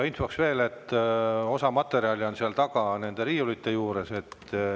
Infoks veel, et osa materjale on seal taga nende riiulite juures.